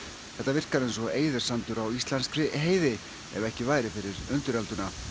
þetta virkar eins og á íslenski heiði ef ekki væri fyrir undirölduna